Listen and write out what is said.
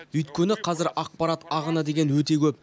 өйткені қазір ақпарат ағыны деген өте көп